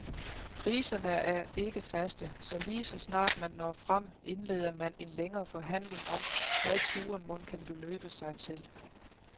Priserne er ikke faste, så ligeså snart man når frem, indleder man en længere forhandling om, hvad turen mon kan beløbe sig til.